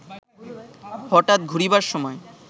হঠাৎ ঘুরিবার সময়